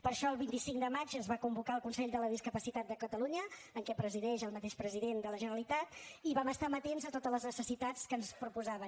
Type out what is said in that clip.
per això el vint cinc de maig es va convocar el consell de la discapacitat de catalunya que presideix el mateix president de la generalitat i vam estar amatents a totes les necessitats que ens proposaven